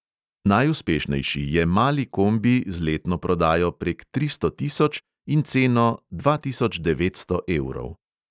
Najuspešnejši je mali kombi z letno prodajo prek tristo tisoč in ceno dva tisoč devetsto evrov.